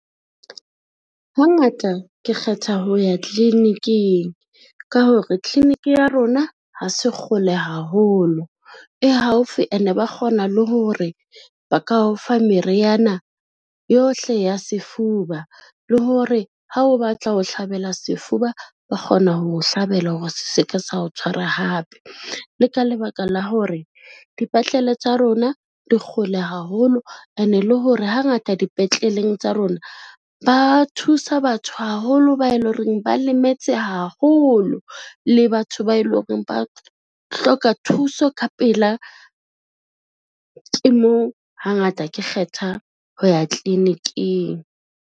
Hangata ke kgetha ho ya tliliniking, ka hore clinic ya rona ha se gole haholo, e haufi ene ba kgona le hore ba ka o fa meriana yohle ya sefuba le hore ha o batla ho hlabela sefuba, ba kgona ho hlabela hore se ke sa o tshwara hape. Le ka lebaka la hore dipetlele tsa rona di gole haholo, ene e le hore hangata dipetleleng tsa rona ba thusa batho haholo ba e lo reng ba lemetse haholo le batho ba e lo reng ba hloka thuso ka pela, ke moo hangata ke kgetha ho ya tliliniking.